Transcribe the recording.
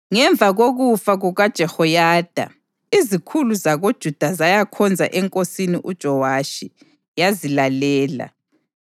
Ngemva kokufa kukaJehoyada, izikhulu zakoJuda zayakhonza enkosini uJowashi, yazilalela.